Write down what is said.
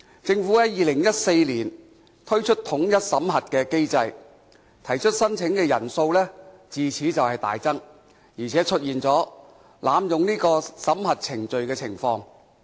政府在2014年推出免遣返聲請統一審核機制，提出申請人數自此大增，而且出現濫用審核程序的情況。